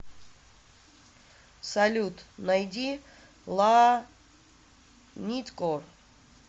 салют найди ла ниткор